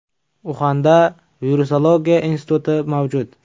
Uxanda virusologiya instituti mavjud.